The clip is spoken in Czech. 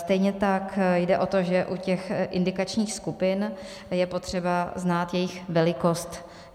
Stejně tak jde o to, že u těch indikačních skupin je potřeba znát jejich velikost.